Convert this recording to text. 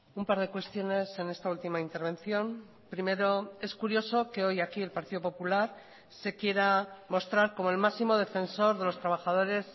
un par de cuestiones en esta última intervención primero es curioso que hoy aquí el partido popular se quiera mostrar como el máximo defensor de los trabajadores